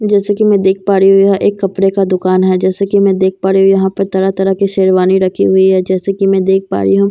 जैसे कि मैं देख पा रही हूं यह एक कपड़े का दुकान है जैसे कि मैं देख पा रही हूं यहां पर तरह तरह के शेरवानी रखी हुई है जैसे की मैं देख पा रही हूं इस कपड़े के--